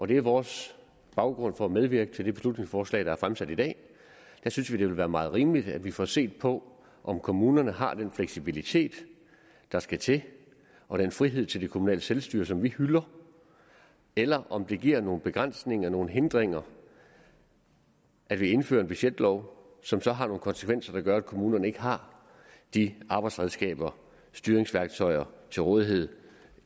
det er vores baggrund for at medvirke til det beslutningsforslag der er fremsat i dag vi synes at det vil være meget rimeligt at vi får set på om kommunerne har den fleksibilitet der skal til og den frihed til det kommunale selvstyre som vi hylder eller om det giver nogle begrænsninger nogle hindringer at vi indfører en budgetlov som så har nogle konsekvenser der gør at kommunerne ikke har de arbejdsredskaber styringsværktøjer til rådighed